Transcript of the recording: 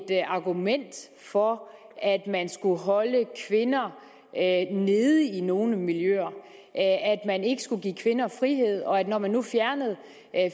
argument for at man skulle holde kvinder nede i nogle miljøer at man ikke skulle give kvinder frihed og at når man nu fjernede